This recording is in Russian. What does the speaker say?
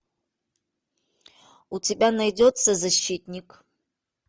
у тебя найдется защитник